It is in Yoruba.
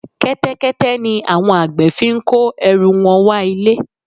Kẹ́tẹ́kẹ́tẹ́ ni àwọn àgbẹ̀ fi ń kó ẹrù wọn wá ilé